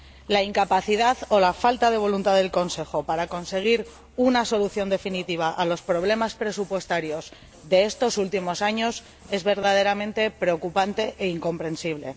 La incapacidad o la falta de voluntad del Consejo para conseguir una solución definitiva a los problemas presupuestarios de estos últimos años es verdaderamente preocupante e incomprensible.